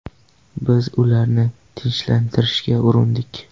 Biz ularni tinchlantirishga urindik.